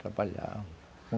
Trabalhavam.